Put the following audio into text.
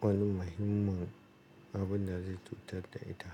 wani mahimman abin da zai cutar da ita?